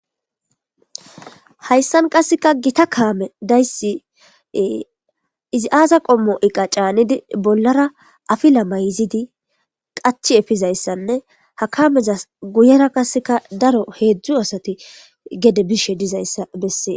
hayssan qasseka gita kaame dayssi izi aaza qommo iqa caanidi bollara afila mayzidi qachi efizayssanne ha kamezas guyera qaseka daro heedzdzu asati gede bishe dizayssa bessee